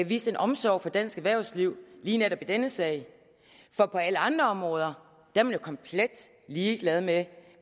vise en omsorg for dansk erhvervsliv lige netop i denne sag for på alle andre områder er man jo komplet ligeglad med